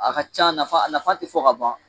A ka ca a nafa a nafa ti fɔ ka ban